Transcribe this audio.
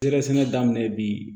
Sɛgɛsɛ daminɛ bi